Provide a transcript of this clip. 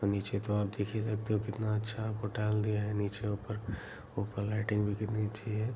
और नीचे तो आप देख ही सकते हो कितना अच्छा होटल दिया है नीचे ऊपर ऊपर लाइटिंग भी कितनी अच्छी है।